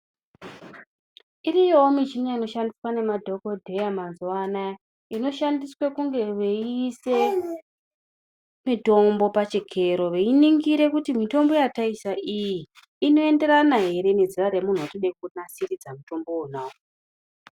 Iriyowo michini inoshandiswa nemadhokodheya mazuwa anaya inoshandiswa kunge veiise mitombo pachikero veiningire kuti mitombo yataisa iyi inoenderana ere nezera remuntu watinoda kunasiridza mutombo wonawo.